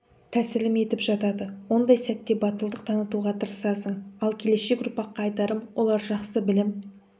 тәсілім етіп жатады ондай сәтте батылдық танытуға тырысасың ал келешек ұрпаққа айтарым олар жақсы білім